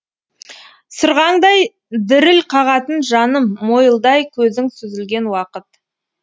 сырғаңдай діріл қағатын жаныммойылдай көзің сүзілген уақыт